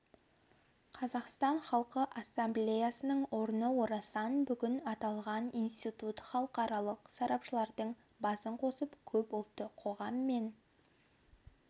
қазақстан халқы ассамблеясының орны орасан бүгін аталған институт халықаралық сарапшылардың басын қосып көпұлтты қоғам мен